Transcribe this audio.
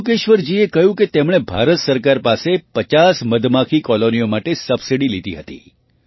મધુકેશ્વરજીએ કહ્યું કે તેમણે ભારત સરકાર પાસે ૫૦ મધમાખી કૉલોનીઓ માટે સબસિડી લીધી હતી